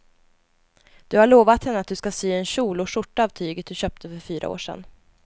Du har lovat henne att du ska sy en kjol och skjorta av tyget du köpte för fyra år sedan.